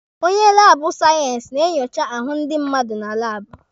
Onye laabụ sayensị na-enyocha ahụ ndi mmadụ na laabụ.